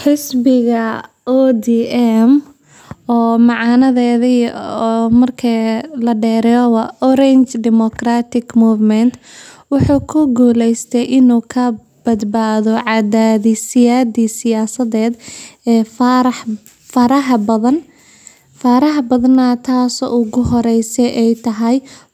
Xisbiga ODM Xisbiga waa mid ka mid ah xisbiya siyaasadeedka ugu waa weyn ee dalka Kenya, waxaana la aasaasay kadib aftidii diidmada dastuurka cusub ee Kenya sanadkii, taasoo la calaamadeeyay midab oranjo oo noqday astaan muujinaysa mucaaradka.